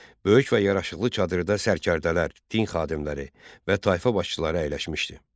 Böyük və yaraşıqlı çadırda sərkərdələr, din xadimləri və tayfa başçıları əyləşmişdi.